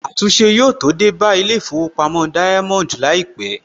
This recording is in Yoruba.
Àtúnṣe yóò tó dé bá Ilé ìfowópamọ́ Diamond láìpẹ̀